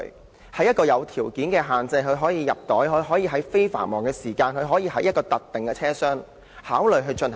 在符合若干條件下，例如將動物放入袋、在非繁忙時間，以及在特定的車廂內，可考慮予以推行。